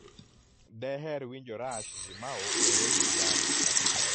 deher winjo rush limaugh e redio jambo